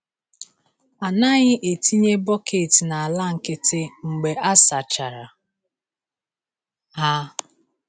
A naghị etinye bọket n’ala nkịtị mgbe a sachara ha.